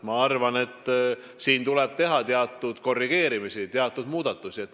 Ma arvan, et siin tuleb teha teatud korrigeerimisi, teatud muudatusi.